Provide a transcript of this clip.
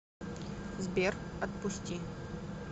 сбер отпусти